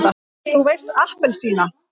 þú veist APPELSÍNA!